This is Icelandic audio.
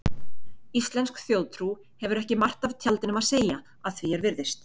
Íslensk þjóðtrú hefur ekki margt af tjaldinum að segja, að því er virðist.